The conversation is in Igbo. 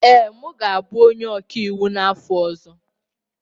Ee, m ga-abụ onye ọkaiwu n'afọ ọzọ